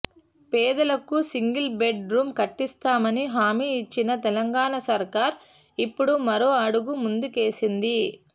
పేదలకు single bed room కట్టిస్తామని హామీ ఇచ్చిన తెలంగాణ సర్కార్ ఇప్పుడు మరో అడుగు ముందుకేసింది